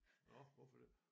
Nåh hvorfor det?